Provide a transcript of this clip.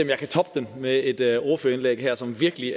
jeg kan toppe den med et ordførerindlæg her som virkelig